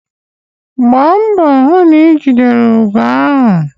Gbaa mbọ hụ na ị jidere Ugo ahụ